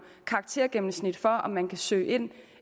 karaktergennemsnit for om man kan søge ind